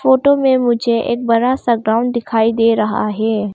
Photo में मुझे एक बड़ा सा ग्राउंड दिखाई दे रहा है।